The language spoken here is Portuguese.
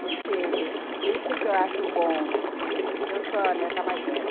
Porque esse que eu acho bom, porque eu sou a neta mais velha.